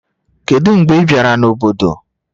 Kedu mgbe ị bịara n'obodo